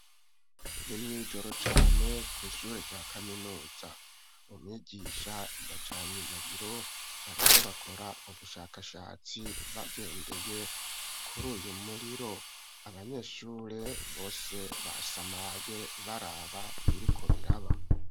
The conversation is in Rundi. Ni mw'ijoro cane kw'ishuri rya kaminuza , umwigisha yacanye umuriro, bariko bakora ubushakashatsi abanyeshure bose basamaye baraba ibiriko biraba.